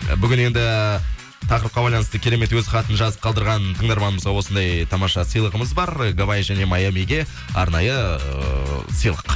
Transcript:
бүгін енді тақырыпқа байланысты керемет өз хатын жазып қалдырған тыңдармандарымызға осындай тамаша сыйлығымыз бар гавайи және майамиге арнайы эээ сыйлық